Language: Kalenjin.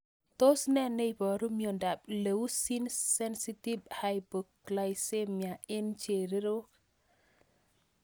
Tos nee neiparu miondop Leucine sensitive hypoglycemia eng' chererok